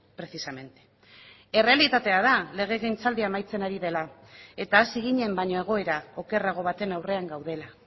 precisamente errealitatea da legegintzaldia amaitzen ari dela eta hasi ginen baino egoera okerrago baten aurrean gaudela